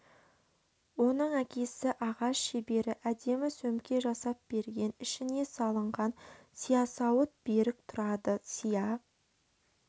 оның әкесі ағаш шебері әдемі сөмке жасап берген ішіне салынған сиясауыт берік тұрады сия